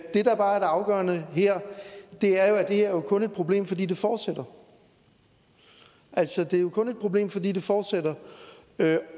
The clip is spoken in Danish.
det der bare er det afgørende her er at det her jo kun er et problem fordi det fortsætter altså det er jo kun et problem fordi det fortsætter